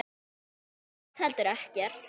Og mér finnst heldur ekkert.